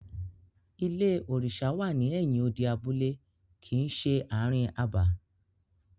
Ilé òrìṣà wà ní ẹ̀yin odi abúlé kìí ṣe ààrin abà.